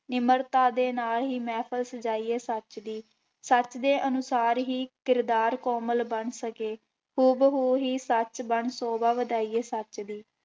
ਨਿਮਰਤਾ ਦੇ ਨਾਲ ਹੀ ਮਿਹਫ਼ਲ ਸਜਾਈਏ ਸੱਚ ਦੀ, ਸੱਚ ਦੇ ਅਨੁਸਾਰ ਹੀ ਕਿਰਦਾਰ ਕੋਮਲ ਬਣ ਸਕੇ, ਹੂਬ ਹੂ ਹੀ ਸੱਚ ਬਣ ਸੋਭਾ ਵਧਾਈਏ ਸੱਚ ਦੀ।